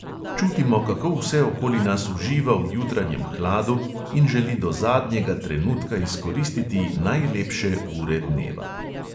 Čutimo, kako vse okoli nas uživa v jutranjem hladu in želi do zadnjega trenutka izkoristiti najlepše ure dneva.